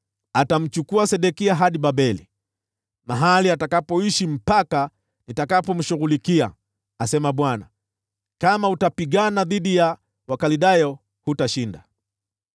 Atamchukua Sedekia hadi Babeli, mahali atakapoishi mpaka nitakapomshughulikia, asema Bwana . Kama utapigana dhidi ya Wakaldayo, hutashinda.’ ”